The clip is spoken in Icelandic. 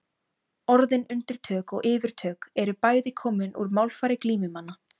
Orðin undirtök og yfirtök eru bæði komin úr málfari glímumanna.